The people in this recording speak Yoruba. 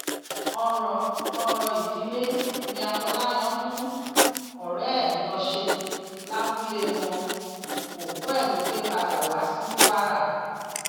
ọrọ ọrọ ìdílé ní afọláyàn mú ọrẹ ẹ lọọ ṣe lábúlé wọn òkú ẹ ló gbé padà wá sí kwara